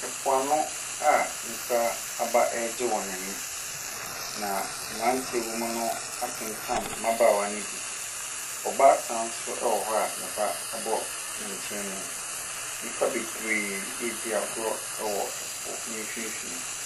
Mpoano a nnipa aba regye wɔn ani. Na mmeranteɛ a wɔwɔ mu no atentam mmabaawa no bi. Ɔbaatan nso wɔ hɔ a ne ba bɔ ne nkyɛn mu. Nnipa bebree redi agorɔ wɔ ɛpo no mfimfini.